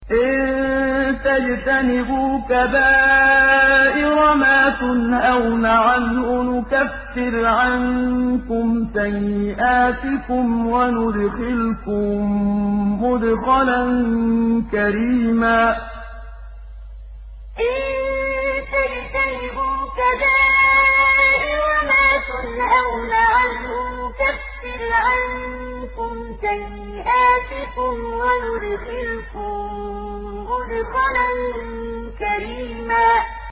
إِن تَجْتَنِبُوا كَبَائِرَ مَا تُنْهَوْنَ عَنْهُ نُكَفِّرْ عَنكُمْ سَيِّئَاتِكُمْ وَنُدْخِلْكُم مُّدْخَلًا كَرِيمًا إِن تَجْتَنِبُوا كَبَائِرَ مَا تُنْهَوْنَ عَنْهُ نُكَفِّرْ عَنكُمْ سَيِّئَاتِكُمْ وَنُدْخِلْكُم مُّدْخَلًا كَرِيمًا